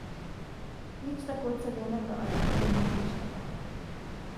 Nič tako cenenega ali izumetničenega.